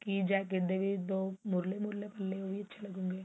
jacket ਦੇ ਵੀ ਦੋ ਮੁਰਲੇ ਮੁਰਲੇ ਪੱਲੇ ਅੱਛੇ ਲੱਗਣ ਗਏ